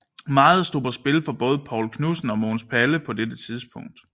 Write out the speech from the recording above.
Meget stod på spil for både Poul Knudsen og Mogens Palle på dette tidspunkt